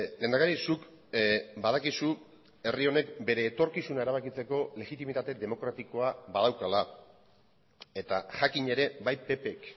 lehendakari zuk badakizu herri honek bere etorkizuna erabakitzeko legitimitate demokratikoa badaukala eta jakin ere bai ppk